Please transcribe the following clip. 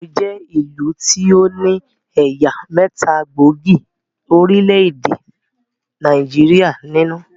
Èkó jẹ́ ìlú tí ó ní ẹ̀yà mẹ́ta gbóògì orílẹ̀-èdè Nàìjíríà nínú